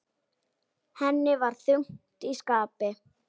Henni var þungt í skapi.